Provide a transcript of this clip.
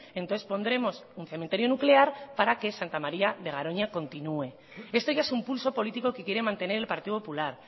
entonces pondremos un cementerio nuclear para que santa maría de garoña continúe esto ya es un pulso político que quiere mantener el partido popular